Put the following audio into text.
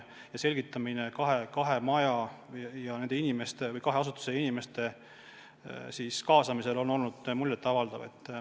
Kogu selgitustöö, kahe maja, kahe asutuse inimeste kaasamine on olnud muljetavaldav.